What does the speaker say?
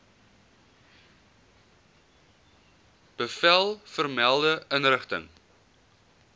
bevel vermelde inrigting